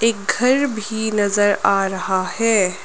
एक घर भी नजर आ रहा है।